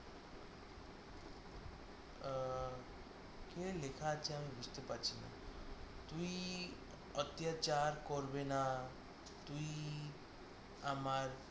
কে লেখা আছে আমি বুঝতে পারছি না তুই অত্যাচার করবে না তুই আমার